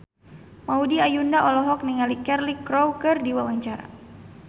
Maudy Ayunda olohok ningali Cheryl Crow keur diwawancara